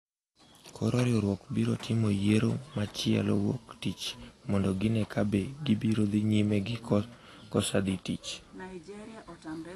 Koro riwruokno biro timo yiero machielo wuok tich mondo gine ka be gibiro dhi nyime gi kosa dhi tich